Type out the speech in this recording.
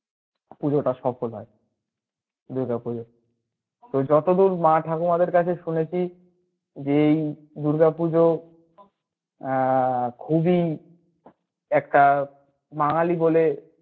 পূজোটা সফল হয় দূর্গা পূজো তো যতদূর মা ঠাকুরানির কাছে শুনেছি যে এই দূর্গা পুজো আহ খুবই একটা বাঙালী বলে